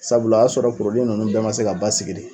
Sabula a y'a sɔrɔ ninnu bɛɛ ma se ka basigi de.